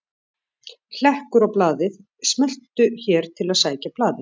Hlekkur á blaðið: Smelltu hér til að sækja blaðið